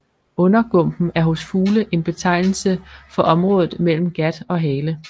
Undergumpen er hos fugle en betegnelse for området mellem gat og hale